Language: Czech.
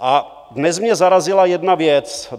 A dnes mě zarazila jedna věc.